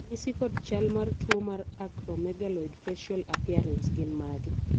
ranyisi kod chal mar tuo mar Acromegaloid facial appearance gin mage?